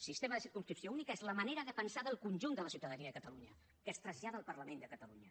sistema de circumscripció única és la manera de pensar del conjunt de la ciutadania de catalunya que es trasllada al parlament de catalunya